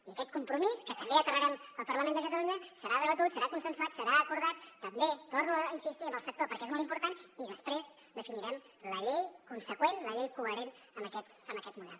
i aquest compromís que també aterrarem al parlament de catalunya serà debatut serà consensuat serà acordat també hi torno a insistir amb el sector perquè és molt important i després definirem la llei conseqüent la llei coherent amb aquest model